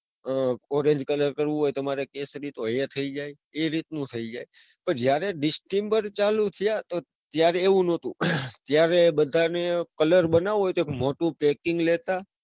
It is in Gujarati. ઉહ foreign colour કરવો હોય તમારે કેસરી તો એ થઇ જાય, પણ જયારે distember ચાલુ થયા ત્યારે એવું નતું, ત્યારે બધાને colour બનાવવો હોય તો એક મોટું packing લેતા.